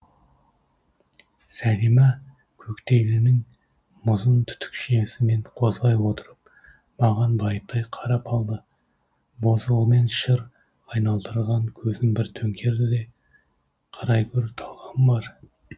сәлима коктейлінің мұзын түтікшесімен қозғай отырып маған байыптай қарап алды бозғылмен шыр айналдырылған көзін бір төңкерді де қарай гөр талғамы бар